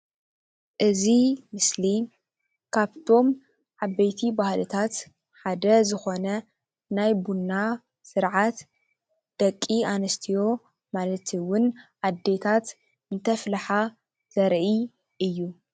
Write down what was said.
እዚ ምስሊ ካብቶም ዓበይቲ ባህልታት ሓደ ዝኮነ ናይ ቡና ስርዓት ደቂ ኣንስትዮ ማለት እውን ኣዴታት እንተፍልሓ ዘርኢ እዩ፡፡